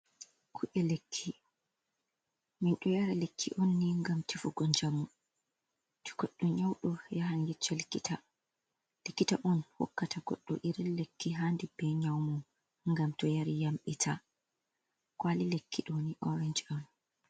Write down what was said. Ku’e lekki, min ɗo yari lekki on ni ngam tefugo njamu to goɗɗo nyawɗo yahan yecca likita on hokkata goɗɗo iri lekki haandi bee nyawu mum ngam to yari yamɗita, kwaali lekki ɗo ni oorenc on.